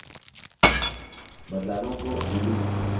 बदलावों को undo करें